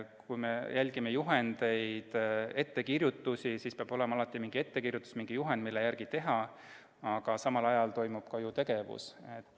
Kui me järgime juhendeid, ettekirjutusi, siis peab kõigepealt mingi ettekirjutus, juhend, mille järgi tegutseda, olemas olema, aga samal ajal toimub ju ka tegevus.